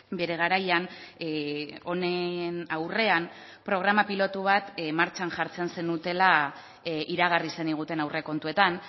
bere garaian honen aurrean programa pilotu bat martxan jartzen zenutela iragarri zeniguten aurrekontuetan